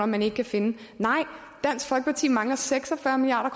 man ikke kan finde nej dansk folkeparti mangler seks og fyrre milliard